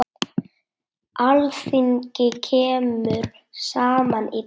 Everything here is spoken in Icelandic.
Alþingi kemur saman í dag.